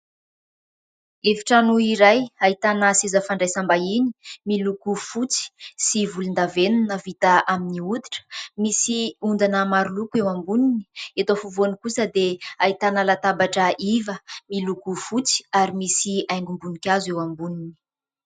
Efitrano iray ahitana seza fandraisam-bahiny, miloko fotsy sy volondavenona, vita amin'ny hoditra, misy ondana maroloko eo amboniny. Eto afovoany kosa dia ahitana latabatra iva miloko fotsy ary misy haingom-boninkazo eo amboniny.